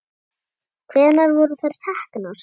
Hvenær voru þær teknar?